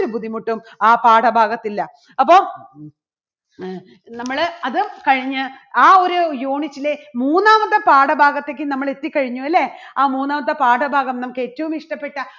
രു ബുദ്ധിമുട്ടും ആ പാഠഭാഗത്തില്ല. അപ്പോ നമ്മള് അത് കഴിഞ്ഞ് ആ ഒരു unit ലെ മൂന്നാമത്തെ പാഠഭാഗത്തേക്ക് നമ്മൾ എത്തിക്കഴിഞ്ഞു. അല്ലേ? ആ മൂന്നാമത്തെ പാഠഭാഗം നമുക്ക് ഏറ്റവും ഇഷ്ടപ്പെട്ട